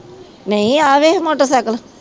ਨਹੀਂ ਆਹ ਵੇਖ ਮੋਟਰ ਸਾਇਕਲ